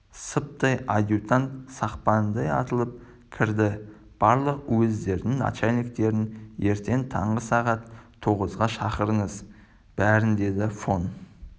сыптай адьютант сақпандай атылып кірді барлық уездердің начальниктерін ертең таңғы сағат тоғызға шақырыңыз бәрін деді фон